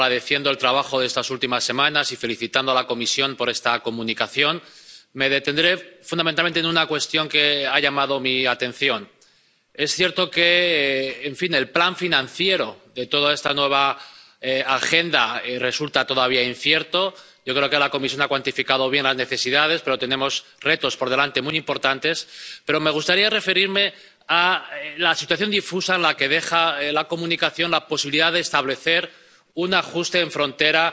Señora presidenta. Bienvenido, vicepresidente. No voy a perder mucho tiempo agradeciendo el trabajo de estas últimas semanas y felicitando a la Comisión por esta comunicación. Me detendré fundamentalmente en una cuestión que ha llamado mi atención. Es cierto que el plan financiero de toda esta nueva agenda resulta todavía incierto. Yo creo que la Comisión ha cuantificado bien las necesidades, pero tenemos retos por delante muy importantes. Me gustaría referirme a la situación difusa en la que deja la comunicación la posibilidad de establecer un ajuste en frontera